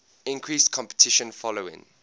increased competition following